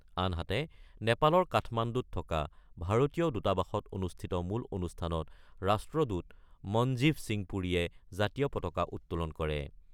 আনহাতে, নেপালৰ কাঠমাণ্ডুত থকা ভাৰতীয় দূতাবাসত অনুষ্ঠিত মূল অনুষ্ঠানত ৰাষ্ট্ৰদূত মনজিভ সিং পুৰীয়ে জাতীয় পতাকা উত্তোলন কৰে।